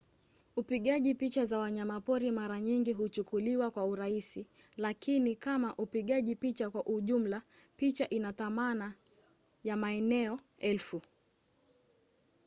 upigaji picha za wanyamapori mara nyingi huchukuliwa kwa urahisi lakini kama upigaji picha kwa ujumla picha ina thamani ya maneno elfu